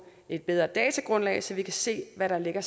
et bedre datagrundlag så vi kan se hvad der ligger